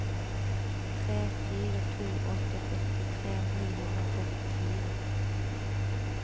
tre fire to åtte førtitre ni hundre og førtifire